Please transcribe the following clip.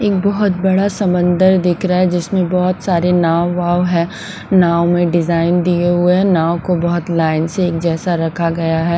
एक बहुत बड़ा समंदर दिख रहा है जिसमें बहुत सारे नाव वाव है नाव में डिजाइन दिए हुए हैं नाव को बहुत लाइन से एक जैसा रखा गया है।